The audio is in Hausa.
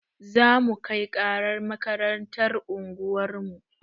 Zamu kai ƙarar makarantar unguwarmu